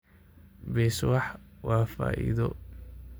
Beeswax waa faa'iido.